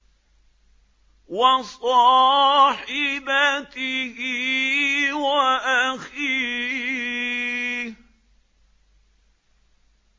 وَصَاحِبَتِهِ وَأَخِيهِ